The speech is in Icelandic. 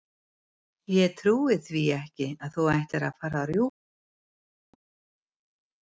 Ég trúi því ekki að þú ætlir að fara að rjúka svona í burtu!